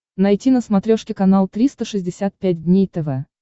найти на смотрешке канал триста шестьдесят пять дней тв